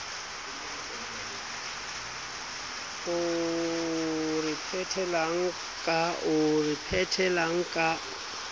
oo o re phetelang ka